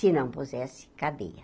Se não, pusesse cadeia.